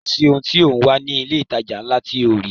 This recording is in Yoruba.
Kò sì ohun tí ò ń wá ní ilé ìtajà ńlá tí ò ní rí